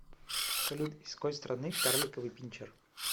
салют из какой страны карликовый пинчер